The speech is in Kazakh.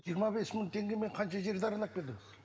жиырма бес мың теңгемен қанша жерді аралап келдіңіз